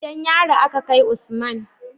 Gidan yari a Ka kai Usman